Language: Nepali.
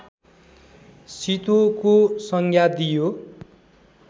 शितोको संज्ञा दिइयो